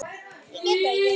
Ég get það ekki!